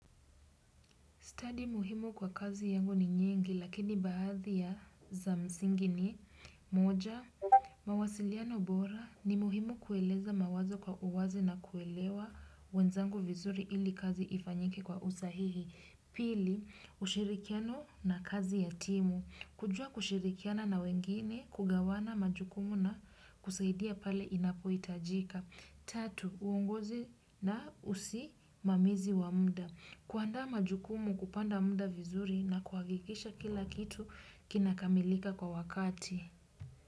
Stadi muhimu kwa kazi yangu ni nyingi lakini baadhi ya za msingi ni moja mawasiliano bora ni muhimu kueleza mawazo kwa uwazi na kuelewa wenzangu vizuri ili kazi ifanyike kwa usahihi. Pili, ushirikiano na kazi ya timu. Kujua kushirikiana na wengine kugawana majukumu na kusaidia pale inapo hitajika. Tatu, uongozi na usimamizi wa muda. Kuandaa majukumu kupanda muda vizuri na kuhakikisha kila kitu kinakamilika kwa wakati.